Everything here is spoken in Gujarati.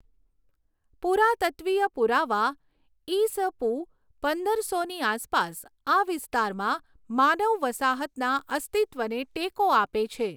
પુરાતત્ત્વીય પુરાવા ઈ.સ.પૂ. પંદરસોની આસપાસ આ વિસ્તારમાં માનવ વસાહતના અસ્તિત્વને ટેકો આપે છે.